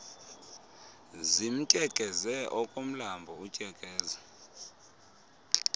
zimtyekeze okomlambo utyekeza